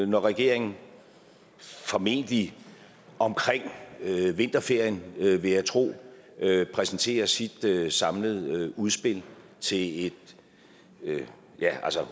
når regeringen formentlig omkring vinterferien vil vil jeg tro præsenterer sit samlede udspil til et